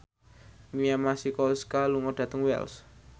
Mia Masikowska lunga dhateng Wells